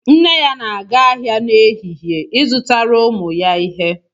Nne ya na-aga ahịa n'ehihie, izụtara ụmụ ya ihe